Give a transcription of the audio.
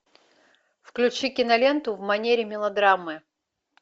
включи киноленту в манере мелодрамы